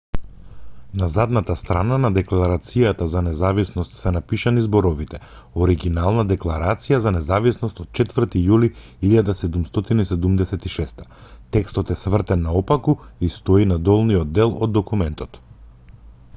на задната страна на декларацијата за независност се напишани зборовите оригинална декларација за независност од 4 јули 1776 текстот е свртен наопаку и стои на долниот дел од документот